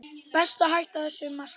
Best að hætta þessu masi.